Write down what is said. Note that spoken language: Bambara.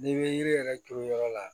N'i bɛ yiri yɛrɛ turu yɔrɔ la